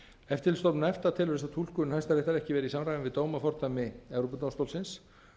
eftirlitsstofnun efta telur þessa túlkun hæstaréttar ekki vera í samræmi við dómafordæmi evrópudómstólsins